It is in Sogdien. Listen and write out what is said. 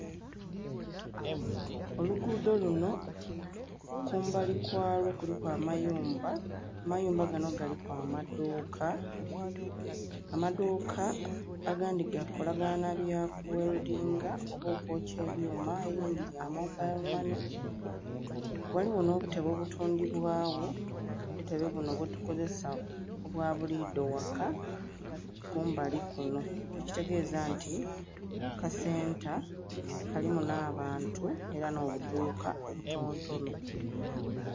Oluguudho lunho kumbali kwalwo kuliku amayumba, amayumba ganho galiku amadhuuka, amadhuuka agandhi gakolaganha nha bya ku weldinga oba okwokya ebyuma elindhi lya mobile money ghaligho nh'obutebe obutundhibwa gho obutebe bunho bwetukozesa obwabulidho eghaka kumbali kule ekitegeza nti kasenta kalimu na bantu era nho budhuuka obutono tono.